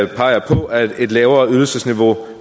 peger på at et lavere ydelsesniveau